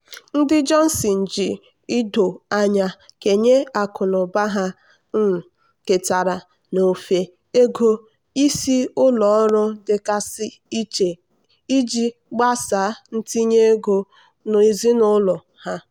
ndị johnson ji ido anya kenye akụnụba ha um ketara n'ofe ego isi ụlọ ọrụ dịgasị iche iji gbasaa itinye ego ezinụlọ ha.